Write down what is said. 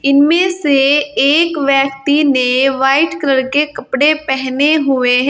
इनमें से एक व्यक्ति ने व्हाइट कलर के कपड़े पहने हुए हैं।